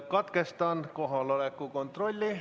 Katkestan kohaloleku kontrolli.